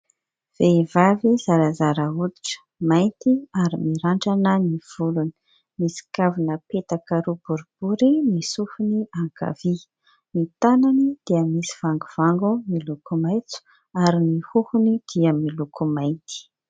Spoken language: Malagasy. Vehivavy zarazara hoditra mainty ary mirandrana ny volony. Misy kavina petaka roa boribory ny sofiny ankavia. Ny tanany dia misy vangovango miloko maitso ary ny hohony dia miloko mainty.